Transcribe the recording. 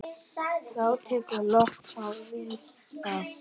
Þá tekur loftið að rísa.